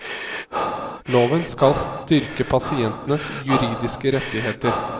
Loven skal styrke pasientenes juridiske rettigheter.